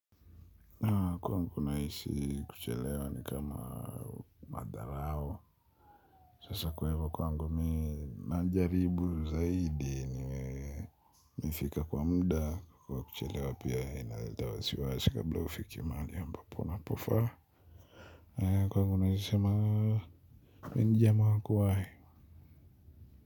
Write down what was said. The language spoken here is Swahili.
Kwangu naisi kuchelewa ni kama madharao sasa kuwa kwa kwangu minanjaribu zaidi niwee mifika kwa muda kwa kuchelewa pia inalitawasiwa sikabla ufikimali ambapo na pofa kwa iyo kwangu naisi sema minijama wakuwae.